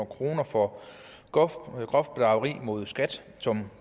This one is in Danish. kroner for groft groft bedrageri mod skat som